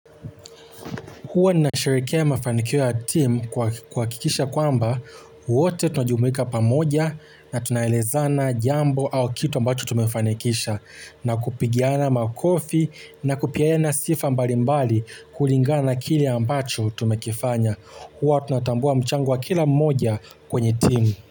Huwa ninasherekea mafanikio ya timu kuhakikisha ya kwamba wote tunajumuika pamoja na tunaelezana jambo au kitu ambacho tumefanikisha na kupigiana makofi na kupeana sifa mbali mbali kulingana na kile ambacho tumekifanya. Huwa tunatambua mchango wa kila mmoja kwenye timu.